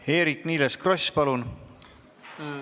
Eerik-Niiles Kross, palun!